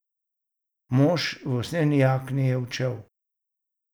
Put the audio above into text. Mož v usnjeni jakni je odšel.